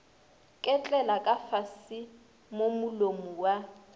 ketlela kafase mo molomo wa